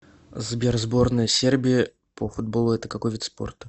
сбер сборная сербии по футболу это какой вид спорта